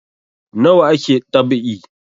Nawa ake dab'i